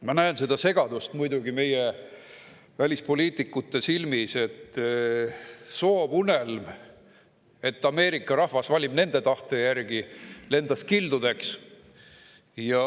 Ma näen muidugi segadust meie välispoliitikute silmis, sest soovunelm, et Ameerika rahvas valib nende tahte järgi, lendas kildudeks.